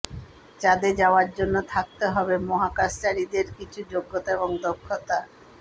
চাঁদে যাওয়ার জন্য থাকতে হবে মহাকাশচারীদের কিছু যোগ্যতা এবং দক্ষতা